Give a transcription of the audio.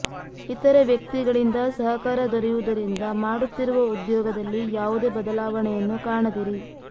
ಇತರ ವ್ಯಕ್ತಿಗಳಿಂದ ಸಹಕಾರ ದೊರೆಯುವುದರಿಂದ ಮಾಡುತ್ತಿರುವ ಉದ್ಯೋಗದಲ್ಲಿ ಯಾವುದೇ ಬದಲಾವಣೆಯನ್ನು ಕಾಣದಿರಿ